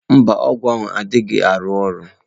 Mba, ọgwụ adịghị arụ ọrụ